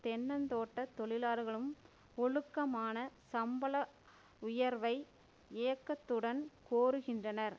தென்னந் தோட்ட தொழிலாளர்களும் ஒழுக்கமான சம்பள உயர்வை ஏக்கத்துடன் கோருகின்றனர்